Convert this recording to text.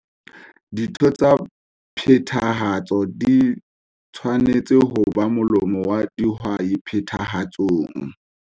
Ditho tsa phethahatso di tshwanetse hob a molomo wa dihwai Phethahatsong.